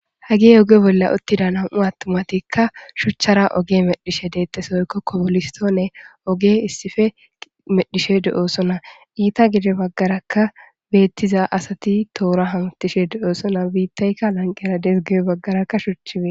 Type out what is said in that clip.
Hagi oge bolla uttida nam'u attumatikka shuchchara oge medhishe deexesoykko kopolistoone oge issife medhishe de'oosona iita gide baggarakka beettiza asati toora hantishe de'oosona biittaykka lanqera desge baggarakka shuchifee.